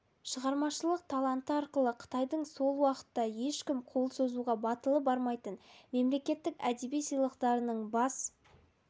шығармашылық таланты арқылы қытайдың сол уақытта ешкім қол созуға батылы бармайтын мемлекеттік әдеби сыйлықтарының бас